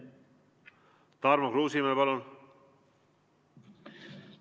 Tarmo Kruusimäe, palun!